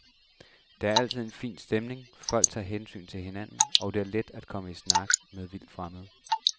Der er altid en fin stemning, folk tager hensyn til hinanden, og det er let at komme i snak med vildtfremmede.